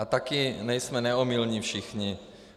A také nejsme neomylní všichni.